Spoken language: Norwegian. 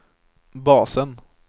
basen